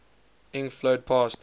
ink flowed past